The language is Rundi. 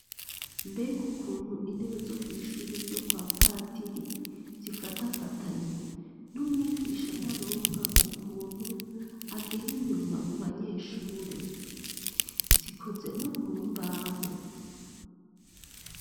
Mbega ukuntu intebe zo kw'ishuri ryo kwa padiri zifatafatanye n'umwigisha ntaronka ukuntu agera inyuma mu banyeshure zikoze no mu mbaho.